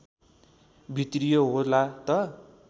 भित्रियो होला त